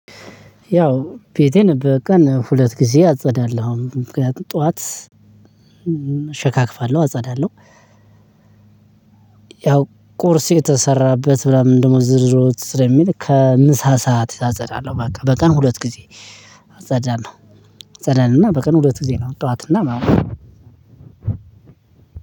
ያው ቤቴን በቀን ሁለት ጊዜ አጸዳለሁ ጠዋት እሸካክፋለሁ አጸዳለሁ። ያው ቁርስ የተሰራበት እንዲሁም ስለሚል ከምሳ ሰዓት አጸዳለሁ ማለት ነው። በቀን ሁለት ጊዜ አጸዳለሁ። አጸዳለሁ እና በቀን ሁለት ጊዜ ነው ጠዋት እና ማታ